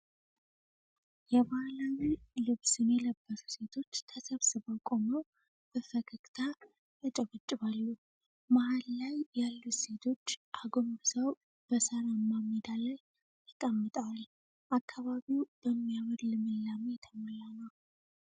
የባህላዊ ልብስን የለበሱ ሴቶች ተሰብስበው ቆመው በፈገግታ ያጨበጭባሉ። መሃል ላይ ያሉት ሴቶች አጎንብሰው በሳራማው ሜዳ ላይ ተቀምጠዋል። አካባቢው በሚያምር ልምላሜ የተሞላ ነው።